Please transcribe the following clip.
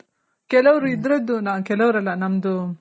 ಕೆಲವ್ರು ಇದರದ್ದು ಕೆಲವರಲ್ಲ ನಮ್ದು